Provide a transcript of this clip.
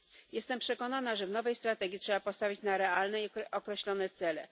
Jestem przekonana, że w nowej strategii trzeba postawić na realne i określone cele.